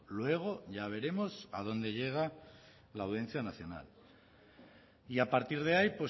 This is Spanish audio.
luego ya veremos a dónde llega la audiencia nacional y a partir de ahí